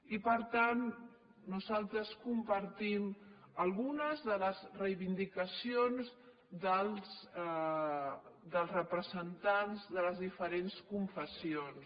i per tant nosaltres compartim algunes de les reivindicacions dels representants de les diferents confessions